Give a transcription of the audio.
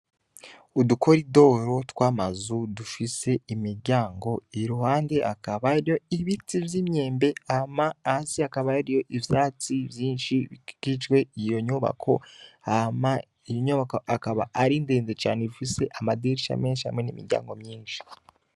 Udukoridoro tw'amazu dufise imiryango, iruhande hakaba hariyo ibiti vy'imyembe, hama hasi hakaba hariyo ivyatsi vyinshi bikikijwe iyo nyubako, hama iyo nyubako akaba ari ndende cane ifise amadirisha menshi hamwe n'imiryango myinshi.